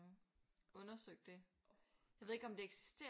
Undersøgt det jeg ved ikke om det eksisterer